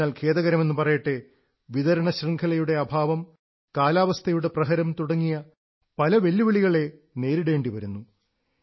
എന്നാൽ ഖേദകരമെന്നു പറയട്ടെ വിതരണ ശൃംഖലയുടെ അഭാവം കാലാവസ്ഥയുടെ പ്രഹരം തുടങ്ങിയ പല വെല്ലുവിളികളെ നേരിടേണ്ടി വരുന്നു